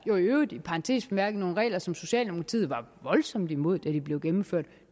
i parentes bemærket nogle regler som socialdemokratiet var voldsomt imod da de blev gennemført